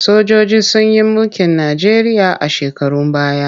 Sojoji sun yi mulkin Najeriya a shekarun baya.